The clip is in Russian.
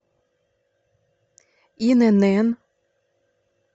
инн